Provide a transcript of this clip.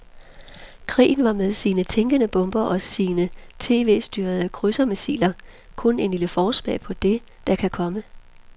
Krigen var med sine tænkende bomber og sine tv styrede krydsermissiler kun en lille forsmag på det, der kan komme.